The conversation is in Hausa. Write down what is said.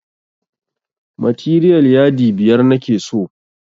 Materiyal yadi biyar nake so